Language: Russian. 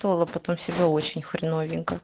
слово потом себя очень хреновенько